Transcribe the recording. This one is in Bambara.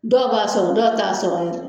Dɔw b'a sɔrɔ dɔ t'a sɔrɔ yɛrɛ.